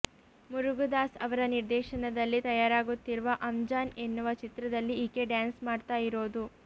ಮುರುಗದಾಸ್ ಅವರ ನಿರ್ದೇಶನದಲ್ಲಿ ತಯಾರಾಗುತ್ತಿರುವ ಅಂಜಾನ್ ಎನ್ನುವ ಚಿತ್ರದಲ್ಲಿ ಈಕೆ ಡ್ಯಾನ್ಸ್ ಮಾಡ್ತಾ ಇರೋದು